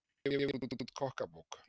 Gefur út kokkabók